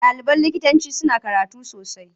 Ɗaliban likitanci suna karatu sosai.